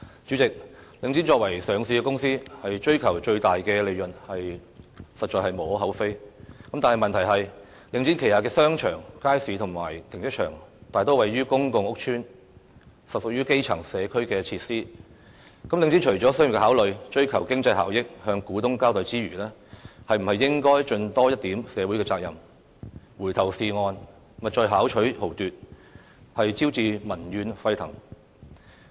主席，領展作為上市公司，追求最大利潤實在無可厚非，但問題是領展旗下的商場、街市和停車場大多位於公共屋邨，實屬於基層社區設施，領展除了商業考慮、追求經濟效益、向股東交代之餘，是否應該盡多一點社會責任，回頭是岸，勿再巧取豪奪，招致民怨沸騰？